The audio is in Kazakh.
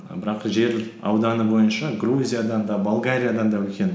бірақ жер ауданы бойынша грузиядан да болгариядан да үлкен